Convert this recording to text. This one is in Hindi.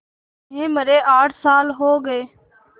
उन्हें मरे आठ साल हो गए